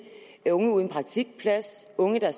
unge uden praktikplads unge der